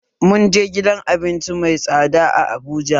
Mun je gidan abinci mai tsada a Abuja